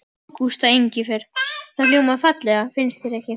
Ágústa Engifer. það hljómar fallega, finnst þér ekki?